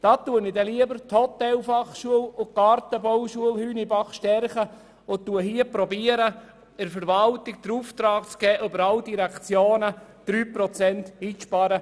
Ich stärke lieber die Hotelfachschule und die Gartenbauschule Hünibach und versuche dafür, der Verwaltung den Auftrag zu geben, über alle Direktionen hinweg 3 Prozent einzusparen.